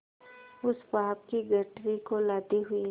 उस पाप की गठरी को लादे हुए